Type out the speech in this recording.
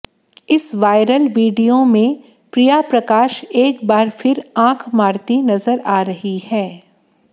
इस viral video में प्रिया प्रकाश एक बार फिर आंख मारती नजर आ रही हैं